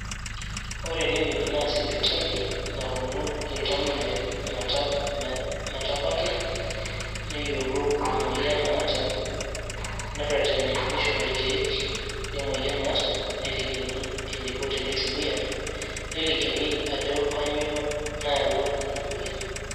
Ore ene wueji naa sipitali iltamoyiak meta metabaiki neyiolou emoyian naata nereteni nishori irkieek e moyian naata nelikini eneiko tenitumia nelikini ajo kainyioo nayawua ina moyian.